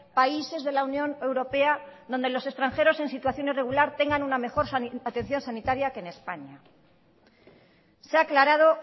países de la unión europea donde los extranjeros en situación irregular tengan una mejor atención sanitaria que en españa se ha aclarado